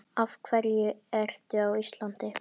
Af hverju ertu á Íslandi?